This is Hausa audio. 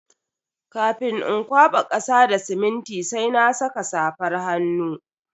Kafin in kwaba kasa da siminti sai na saka safar hannu.